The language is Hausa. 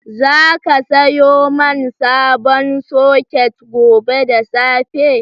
Za ka sayo man sabon soket gobe da safe?